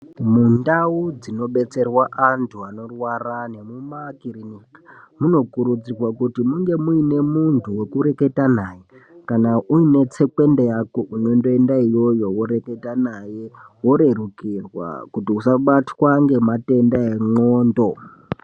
Mundau dzinobetserwa antu anorwara nemukakirinika munokurudzirwa kuti munge mune muntu wekureketa naye kana une tsekwende yako unondoinda iyoyo woreketa naye worerukirwa kuti usabatwa ngematenda endxondo.